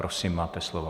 Prosím, máte slovo.